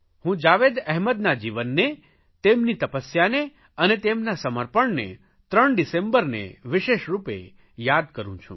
હું જાવેદ અહેમદના જીવનને તેમની તપસ્યાને અને તેમના સમર્પણને ત્રણ ડિસેમ્બરને વિશેષરૂપે યાદ કરૂં છું